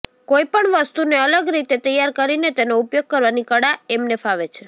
કોઇપણ વસ્તુને અલગ રીતે તૈયાર કરીને તેનો ઉપયોગ કરવાની કળા એમને ફાવે છે